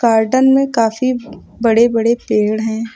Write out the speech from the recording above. Garden में काफी बड़े बड़े पेड़ हैं।